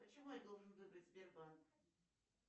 почему я должен выбрать сбербанк